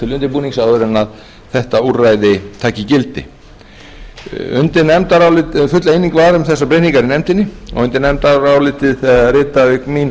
til undirbúnings áður en þetta úrræði taki gildi full eining var um þessar breytingar í nefndinni og undir nefndarálitið rita auk mín